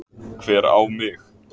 Hver á mig?